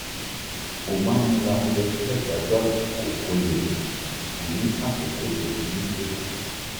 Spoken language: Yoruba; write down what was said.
ó máa ń múra oúnjẹ sílẹ̀ ṣáájú àkókò kó lè dín àkókò tó fi ń ṣe é kù